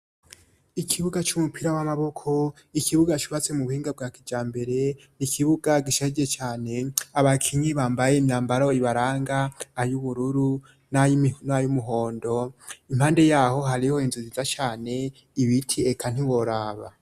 Ikibuga c'umupira w'amaboko ikibuga cubatse mu buhinga bwa kija mbere 'ikibuga gishaje cane abakinyi bambaye imyambaro ibaranga ayoubururu naynayo'umuhondo impande yaho hariho inzuziza cane ibiti eka ntiboraba.